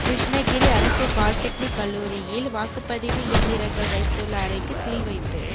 கிருஷ்ணகிரி அரசு பாலிடெக்னிக் கல்லூரியில் வாக்குப்பதிவு இயந்திரங்கள் வைத்துள்ள அறைக்கு சீல் வைப்பு